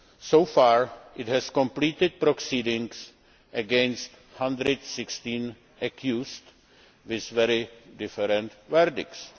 So far, it has completed proceedings against 116 accused with very different verdicts.